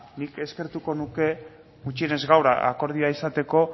nik eskertuko nuke gutxienez gaur akordioa izateko